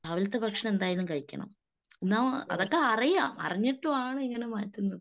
രാവിലത്തെ ഭക്ഷണം എന്തായാലും കഴിക്കണം. എന്നാ അതൊക്കെ അറിയാം. അറിഞ്ഞിട്ടുമാണ് ഇങ്ങനെ മാറ്റുന്നത്.